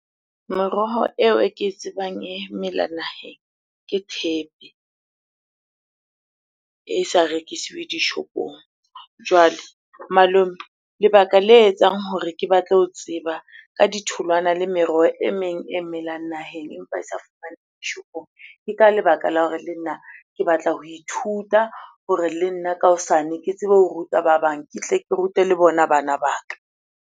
Meroho eo e ke e tsebang e mela naheng ke thepe e sa rekisiwe dishopong. Jwale malome, lebaka le etsang hore ke batla ho tseba ka ditholwana le meroho e meng e melang naheng empa e sa dishopong. Ke ka lebaka la hore le nna ke batla ho ithuta hore le nna ka hosane ke tsebe ho ruta ba bang, ke tle ke rute le bona bana ba ka.